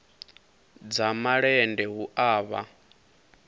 dza malende hu a vha